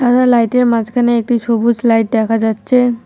সাদা লাইট -এর মাঝখানে একটি সবুজ লাইট দেখা যাচ্ছে।